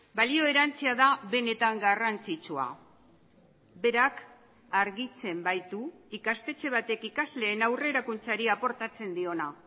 balio erantsia da benetan garrantzitsua berak argitzen baitu ikastetxe batek ikasleen aurrerakuntzari aportatzen diona